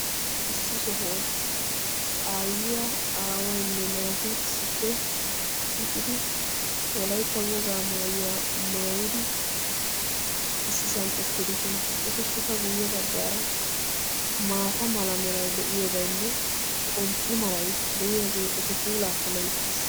Issi sohuwaan aayyiyaa aawayinne naati issippe shiiqqidi wolaytta wogaa maayuwaa maayidi issisaan uttidosona. etappe guye baggaara maata meray deiyaagenne xomppe malay de'iyaagee eta puulaa keehippe loyttiis.